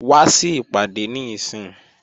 Wá sí ìpàdé níìsín!